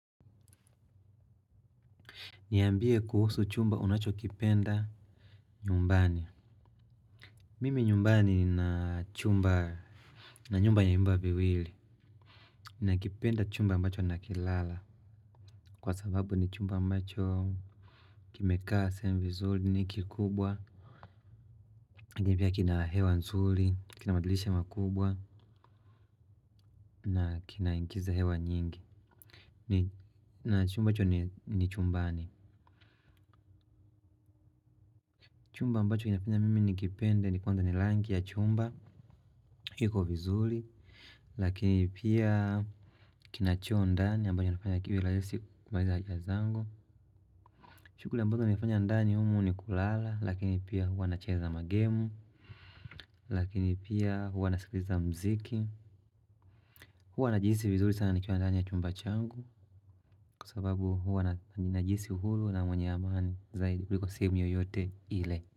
Niambie kuhusu chumba unachokipenda nyumbani. Mimi nyumbani nina nyumba yenye vyumba viwili. Nakipenda chumba ambacho nakilala. Kwa sababu ni chumba ambacho kimekaa sehemu vizuri ni kikubwa. Lakini pia kina hewa nzuri, kina madirisha makubwa na kinaingiza hewa nyingi. Na chumba hicho ni chumbani. Chumba ambacho kinafanya mimi nikipende ni; kwanza ni rangi ya chumba. Kiko vizuri lakini pia kina choo ndani ambayo inafanya kiwe rahisi kufanya haja zango. Shughuli ambazo ninafanya ndani humo ni kulala lakini pia huwa nacheza magemu, lakini pia huwa nasikiliza muziki huwa najihisi vizuri sana nikiwa ndani ya chumba changu kwa sababu huwa najisi huru na mwenye amani zaidi kuliko sehemu yoyote ile.